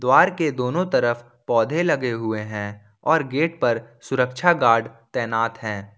Park के दोनों तरफ पौधे लगे हुए हैं और गेट पर सुरक्षा गार्ड तैनात हैं।